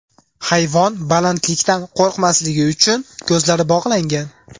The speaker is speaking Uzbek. Hayvon balandlikdan qo‘rqmasligi uchun, ko‘zlari bog‘langan.